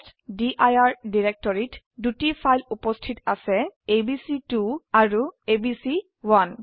টেষ্টডিৰ ডিৰেক্টৰিত দুটি ফাইল উপস্থিত আছেabc2 আৰু এবিচি1